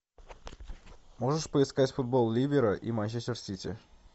можешь поискать футбол ливера и манчестер сити